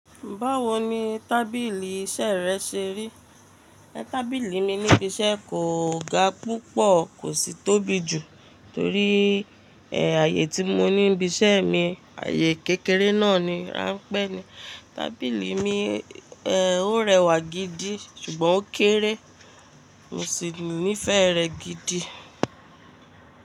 Báwo ni tábìlì iṣẹ́ rẹ ṣe rí? Tábìlì mi níbi iṣẹ́ kò ga púpọ̀ kò sì tóbi jù torí, ààyè tí mo ní níbi iṣẹ́ mi ayé kékeré náà ni, ránpẹ́ ni. Tábìlì mi, ó rẹwà gidi ṣùgbọ́n ó kéré. Mo sì nífẹ̀ẹ́ rẹ̀ gidi.